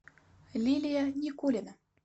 лилия никулина